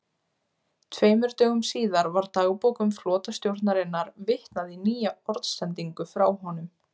Tveimur dögum síðar var í dagbókum flotastjórnarinnar vitnað í nýja orðsendingu frá honum